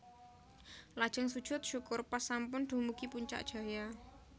Lajeng sujud syukur pas sampun dumugi Puncak Jaya